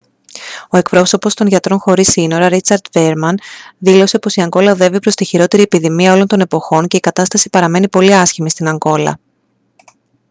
ο εκπρόσωπος των γιατρών χωρίς σύνορα richard veerman δήλωσε πως «η ανγκόλα οδεύει προς τη χειρότερη επιδημία όλων των εποχών και η κατάσταση παραμένει πολύ άσχημη στην ανγκόλα»